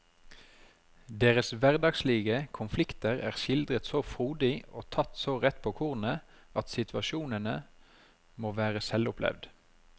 Deres hverdagslige konflikter er skildret så frodig og tatt så rett på kornet at situasjonene må være selvopplevd.